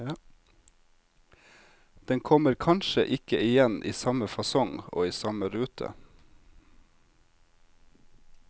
Den kommer kanskje ikke igjen i samme fasong og i samme rute.